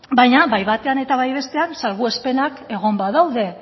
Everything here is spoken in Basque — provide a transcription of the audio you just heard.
baina bai batean eta bai bestean salbuespenak egon badaude